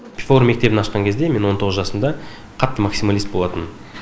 пифагор мектебін ашқан кезде мен он тоғыз жасымда қатты максималист болатынмын